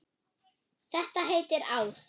Þetta heitir ást.